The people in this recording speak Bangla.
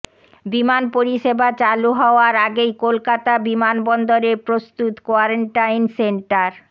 বিমান পরিষেবা চালু হওয়ার আগেই কলকাতা বিমানবন্দরে প্রস্তুত কোয়ারেন্টাইন সেন্টার